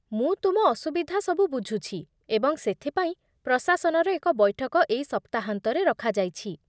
ମୁଁ ତୁମ ଅସୁବିଧା ସବୁ ବୁଝୁଛି ଏବଂ ସେଥିପାଇଁ ପ୍ରଶାସନର ଏକ ବୈଠକ ଏଇ ସପ୍ତାହାନ୍ତରେ ରଖାଯାଇଛି